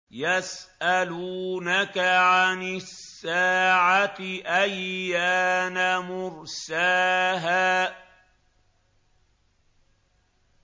يَسْأَلُونَكَ عَنِ السَّاعَةِ أَيَّانَ مُرْسَاهَا